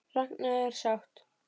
Ragna er sátt.